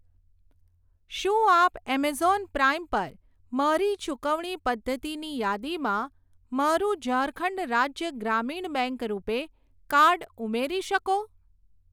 શું આપ Amazon Prime પર મારી ચુકવણી પદ્ધતિની યાદીમાં મારું Jharkhand Rajya Gramin bank RuPay card ઉમેરી શકો?